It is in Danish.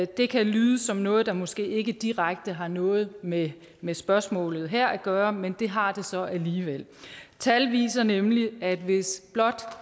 det kan lyde som noget der måske ikke direkte har noget med med spørgsmålet her at gøre men det har det så alligevel tal viser nemlig at hvis blot